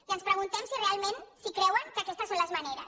i ens preguntem si realment si creuen que aquestes són les maneres